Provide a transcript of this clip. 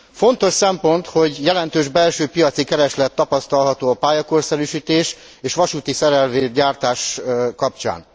Fontos szempont, hogy jelentős belső piaci kereslet tapasztalható a pályakorszerűsítés és vasútiszerelvény gyártás kapcsán.